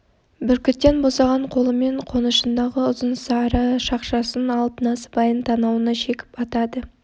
бүркіттен босаған қолымен қонышындағы ұзын сары шақшасын алып насыбайын танауына шекіп атады